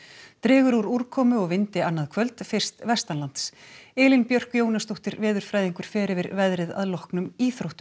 dregur úr úrkomu og vindi annað kvöld fyrst Elín Björk Jónasdóttir veðurfræðingur fer yfir veðrið að loknum íþróttum